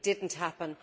It did not happen.